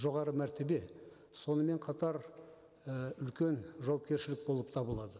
жоғары мәртебе сонымен қатар і үлкен жауапкершілік болып табылады